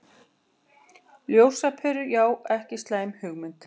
Ljósaperur, já ekki slæm hugmynd.